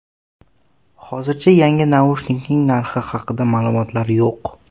Hozircha yangi naushnikning narxi haqida ma’lumotlar yo‘q.